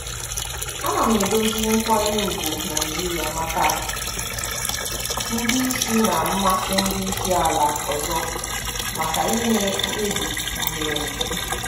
Ana m edozi nkwanye ùgwù Naijiria maka ndị isi na mmasị ndị isi ala ọzọ maka ime mkpebi gụnyere.